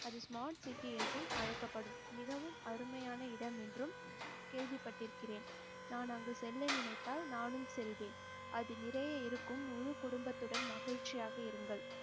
அது smart city என்றும் அழைக்கப்படும் மிகவும் அருமையான இடம் என்றும் கேள்விப்பட்டிருக்கிறேன் நான் அங்கு செல்ல நினைத்தால் நானும் செல்வேன் அது நிறைய இருக்கும் முழு குடும்பத்துடன் மகிழ்ச்சியாக இருங்கள்